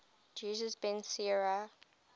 jesus ben sira